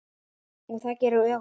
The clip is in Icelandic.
Það gerir ögunin.